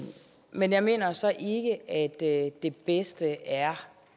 men jeg mener så ikke at det bedste er